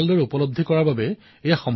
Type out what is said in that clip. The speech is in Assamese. স্বচ্ছতা অভিযানৰো তাত ভূমিকা আছে